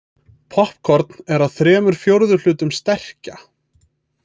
Poppkorn er að þremur fjórðu hlutum sterkja.